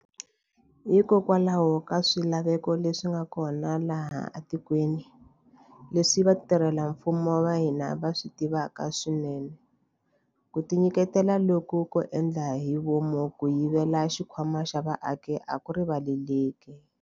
Hikokwalaho ka swilaveko leswi nga kona laha etikweni, leswi vatirhela mfumo va hina va swi tivaka swinene, ku tinyiketela loku ko endla hi vomu ko yivela xikhwama xa vaaki a ku rivaleleki.